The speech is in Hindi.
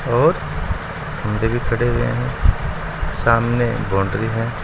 और खड़े हुए हैं सामने बाउंड्री है।